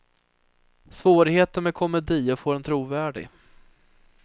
Svårigheten med komedi är att få den trovärdig.